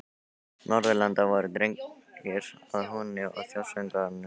Norðurlanda voru dregnir að húni og þjóðsöngvar sungnir.